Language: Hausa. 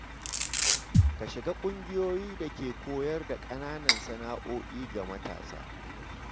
Ka shiga ƙungiyoyin da ke koyar da ƙananan sana’o’i ga matasa.